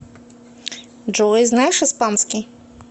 джой знаешь испанский